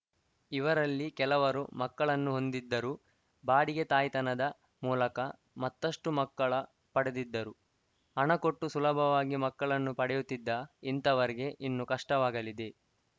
ಇವರಲ್ಲಿ ಕೆಲವರು ಮಕ್ಕಳನ್ನು ಹೊಂದಿದ್ದರೂ ಬಾಡಿಗೆ ತಾಯ್ತನದ ಮೂಲಕ ಮತ್ತಷ್ಟುಮಕ್ಕಳ ಪಡೆದಿದ್ದರು ಹಣ ಕೊಟ್ಟು ಸುಲಭವಾಗಿ ಮಕ್ಕಳನ್ನು ಪಡೆಯುತ್ತಿದ್ದ ಇಂಥವರಿಗೆ ಇನ್ನು ಕಷ್ಟವಾಗಲಿದೆ